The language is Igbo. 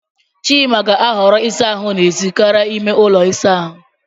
Chima ga-ahọrọ ịsa ahụ n'èzí karịa n'ime ụlọ ịsa ahụ.